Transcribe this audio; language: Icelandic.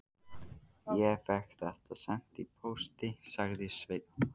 Ég fékk þetta sent í pósti, sagði Sveinn.